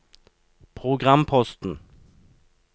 programposten